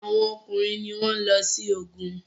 Awọn ọkùnrin ní wón ló sí ògún